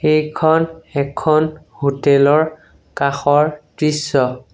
এইখন এখন হোটেল ৰ কাষৰ দৃশ্য।